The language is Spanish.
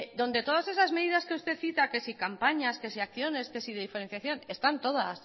donde todas esas medidas que usted cita que si campañas que si acciones que si diferenciación están todas